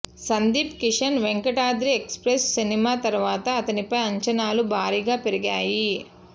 Sandeep Kishan Venkatadri Express సినిమా తర్వాత అతనిపై అంచనాలు భారీగా పెరిగాయి